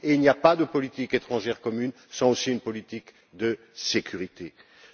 Il n'y a pas de politique étrangère commune sans politique de sécurité commune.